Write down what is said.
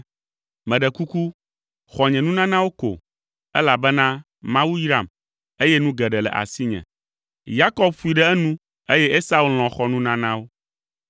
Meɖe kuku, xɔ nye nunanawo ko, elabena Mawu yram, eye nu geɖe le asinye.” Yakob ƒoe ɖe enu, eye Esau lɔ̃ xɔ nunanawo.